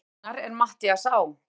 Formaður hennar er Matthías Á.